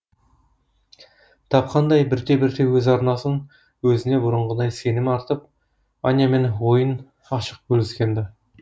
тапқандай бірте бірте өз арнасын өзіне бұрынғыдай сенімі артып анямен ойын ашық бөліскен ді